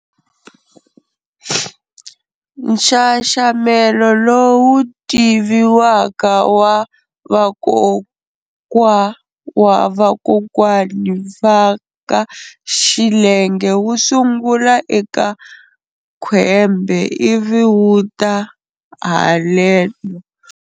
Nxaxamelo lowu tiviwaka wa vakwokwa wa vakwokwani vaka xilenge wu sungula eka Khwembe ivi wu ta haleno.